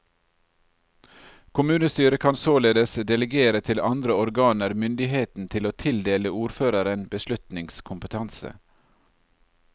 Kommunestyret kan således delegere til andre organer myndigheten til å tildele ordføreren beslutningskompetanse.